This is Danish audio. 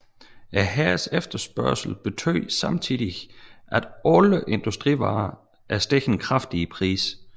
Hærens efterspørgsel betød samtidig at alle industrivarer steg kraftigt i pris